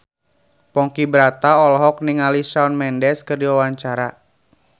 Ponky Brata olohok ningali Shawn Mendes keur diwawancara